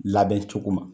Labɛn cogo ma